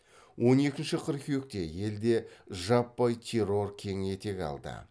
он екінші қыркүйекте елде жаппай террор кең етек алды